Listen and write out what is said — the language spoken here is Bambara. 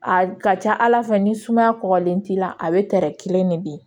A ka ca ala fɛ ni sumaya kɔgɔlen t'i la a bɛ tɛrɛn kelen de bi